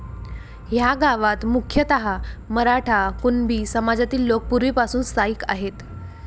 ह्या गावात मुख्यतः मराठा, कुणबी समाजातील लोक पूर्वीपासून स्थायिक आहेत.